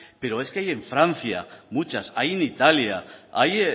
pero es que hay en francia muchas hay en italia hay